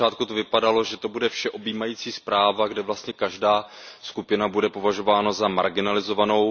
Na začátku to vypadalo, že to bude vše objímající zpráva, kde vlastně každá skupina bude považována za marginalizovanou.